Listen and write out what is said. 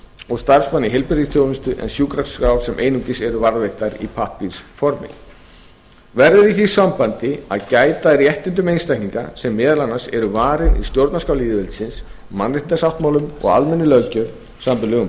og starfsmanna í heilbrigðisþjónustu en sjúkraskrár sem einungis eru varðveittar í pappírsformi verður í því sambandi að gæta að réttindum einstaklinga sem meðal annars eru varin í stjórnarskrá lýðveldisins mannréttindasáttmálum og almennri löggjöf samanber lög um